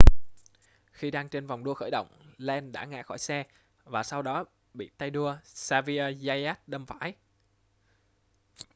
khi đang trên vòng đua khởi động lenz đã ngã khỏi xe và sau đó bị tay đua xavier zayat đâm phải